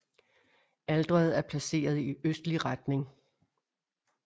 Alteret er placeret i østlig retning